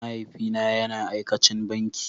mahaifi na yana aikacin banki.